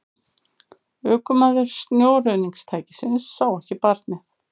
Ökumaður snjóruðningstækisins sá ekki barnið